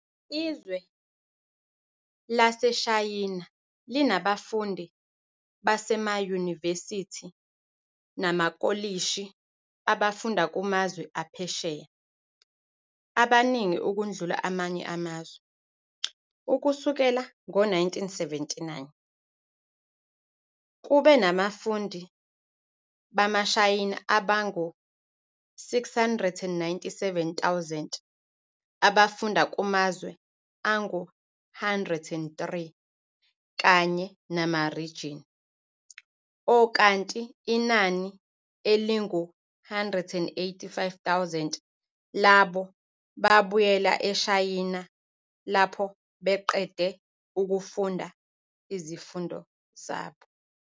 Izwe laseShayina linabafundi basemayunivesithi namakholishi abafunda kumazwe aphesheya, abaningi ukudlula amanye amazwe, ukusukela ngo 1979, kube nabafundi bamaShayina abangu 697 000, abafunda kumazwe angu 103 kanye namarijini, okanti inani elingu 185 000 labo babuyela eShayina lapho beqede ukufunda izifundo zabo.